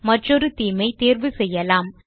மற்றொரு தேமே ஐ தேர்வு செய்யலாம்